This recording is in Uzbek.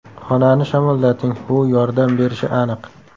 Xonani shamollating, bu yordam berishi aniq.